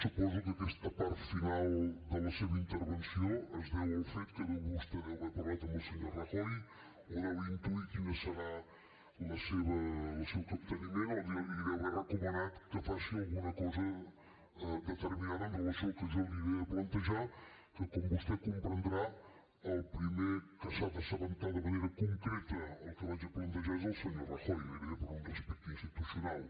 suposo que aquesta part final de la seva intervenció es deu al fet que vostè deu haver parlat amb el senyor rajoy o deu intuir quin serà el seu capteniment o li deu haver recomanat que faci alguna cosa determinada amb relació al que jo li aniré plantejar que com vostè comprendrà el primer que s’ha de assabentar de manera concreta del que vaig a plantejar és el senyor rajoy gairebé per un respecte institucional